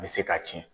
N bɛ se ka tiɲɛ